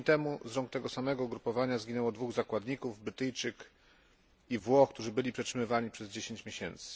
Tydzień temu z rąk tego samego ugrupowania zginęło dwóch zakładników Brytyjczyk i Włoch, którzy byli przetrzymywani przez 10 miesięcy.